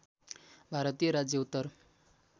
भारतीय राज्य उत्तर